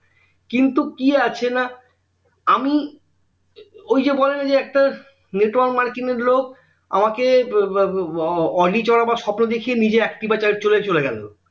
কিন্তু কি আছে না আমি ঐযে বলেনা যে একটা network marketing এর লোক আমাকে audi চোড়াবার স্বপ্ন দেখিয়ে নিজে activa চালিয়ে চলে গেলো